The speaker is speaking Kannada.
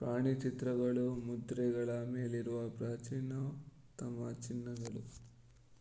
ಪ್ರಾಣಿಚಿತ್ರಗಳು ಮುದ್ರೆಗಳ ಮೇಲಿರುವ ಪ್ರಾಚೀನತಮ ಚಿಹ್ನೆಗಳು